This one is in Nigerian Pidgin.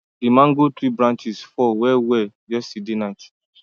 the mango tree branches fall well well yesterday night